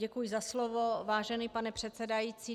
Děkuji za slovo, vážený pane předsedající.